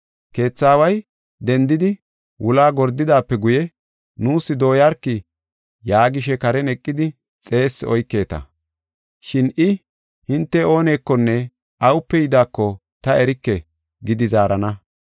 Keetha aaway dendidi wulaa gordidaape guye, ‘Nuus dooyarki’ yaagishe karen eqidi xeessi oyketa. Shin I, ‘Hinte oonekonne awupe yidaako ta erike’ gidi zaarana.